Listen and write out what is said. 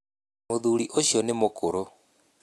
Mũthuri ũcio nĩ mũkũrũ